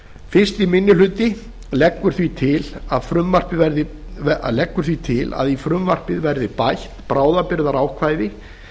fyrsti minni hluti leggur því til að í frumvarpið verði bætt bráðabirgðaákvæði